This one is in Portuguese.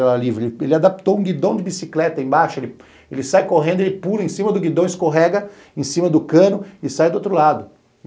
Ele adaptou um guidom de bicicleta embaixo, ele sai correndo, ele pula em cima do guidom, escorrega em cima do cano e sai do outro lado.